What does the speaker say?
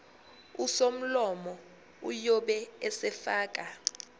usomlomo uyobe esefaka